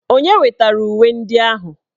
Onye wetara uwe ndị ahụ?